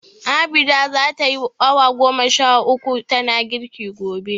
Abida za tayi awa goma sha uku tana girki gobe.